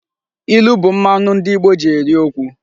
Ilu bụ mmanụ ndị Igbo ji eri okwu.